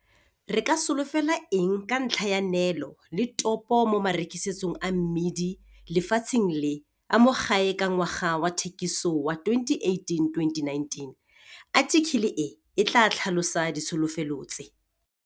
RE KA SOLOFELA ENG KA NTLHA YA NEELO LE TOPO MO MAREKISETSONG A MMIDI LEFATSHENG LE A MO GAE KA NGWAGA WA THEKISO WA 2018-2019? ATHIKELE E E TLAA TLHALOSA DITSHOLOFELO TSE.